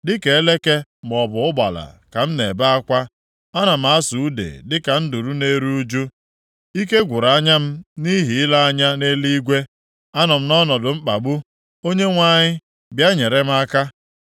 Dịka eleke maọbụ ụgbala ka m na-ebe akwa. Ana m asụ ude dịka nduru na-eru ụjụ. Ike gwụrụ anya m nʼihi ile anya nʼeluigwe. Anọ m nʼọnọdụ mkpagbu, Onyenwe anyị, bịa nyere m aka.”